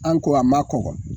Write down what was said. An ko a ma kɔkɔ